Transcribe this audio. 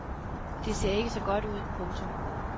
Det ser ikke så godt ud. punktum